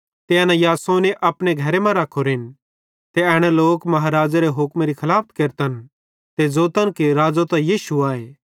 ते एना यासोने अपने घरे मां रखोरेन ते एना लोक महाराज़ेरे हुक्मेरी खलाफत केरतन ते ज़ोतन कि राज़ो त यीशु आए